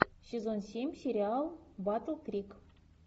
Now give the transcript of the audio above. сезон семь сериал батл крик